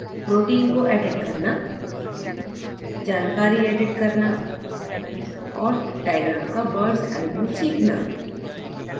protein को edit करना